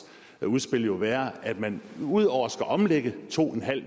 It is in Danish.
udspil vil jo være at man ud over at skulle omlægge to